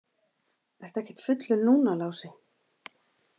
Ertu ekkert fullur núna, Lási?